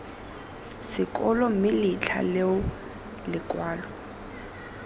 sekolo mme letlha leo lekwalo